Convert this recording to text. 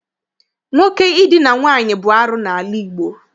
Nwoke Idina nwaanyị bụ arụ n'ala Igbo.